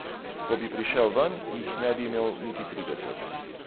Ko bi prišel ven, jih ne bi imel niti trideset.